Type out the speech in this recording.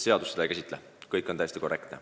Seadus seda ei käsitle, kõik on täiesti korrektne.